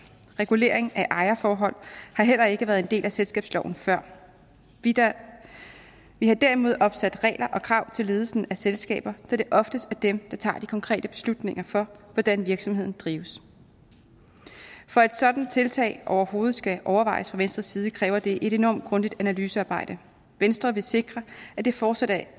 regulering af ejerforhold har heller ikke været en del af selskabsloven før vi har derimod opsat regler og krav til ledelsen af selskaber da det oftest er dem der tager de konkrete beslutninger for hvordan virksomheden drives for at et sådant tiltag overhovedet skal overvejes fra venstres side kræver det et enormt grundigt analysearbejde venstre vil sikre at det fortsat er